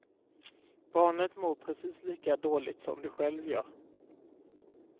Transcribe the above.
Barnet mår precis lika dåligt som du själv gör.